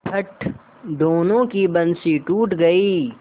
फट दोनों की बंसीे टूट गयीं